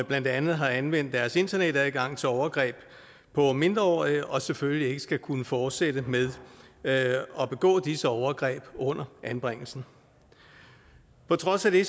blandt andet har anvendt deres internetadgang til overgreb på mindreårige og selvfølgelig ikke skal kunne fortsætte med at begå disse overgreb under anbringelsen på trods af det